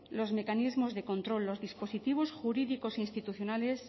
los mecanismos de control los dispositivos jurídicos e institucionales